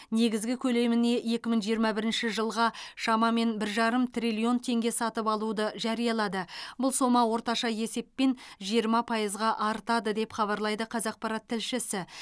негізгі көлеміне екі мың жиырма бірніші жылға шамамен бір жарым триллион теңге сатып алуды жариялады бұл сома орташа есеппен жиырма пайызға артады деп хабарлайды қазақпарат тілішсі